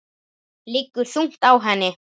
Liggur þungt á henni.